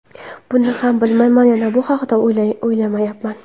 Buni ham bilmayman va bu haqda o‘ylamayapman.